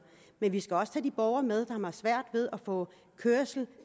men vi skal også have de borgere med som har svært ved at få kørsel